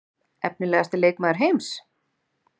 Efnilegasti leikmaður heims?